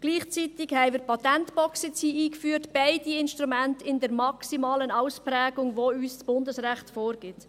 Gleichzeitig haben wir hier die Patentbox eingeführt, beide Instrumente in der maximalen Ausprägung, welche uns das Bundesrecht vorgibt.